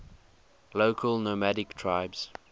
local nomadic tribes